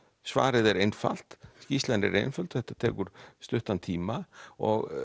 svarið er einfalt skýrslan er einföld þetta tekur stuttan tíma og